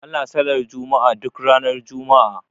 Ana sallar juma'a duk ranar juma'a.